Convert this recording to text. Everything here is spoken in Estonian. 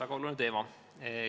Väga oluline teema.